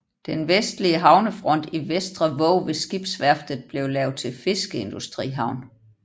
Den vestlige havnefront i Vestrevåg ved skibsværftet blev lavet til fiskeindustrihavn